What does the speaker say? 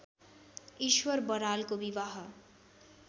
ईश्वर बरालको विवाह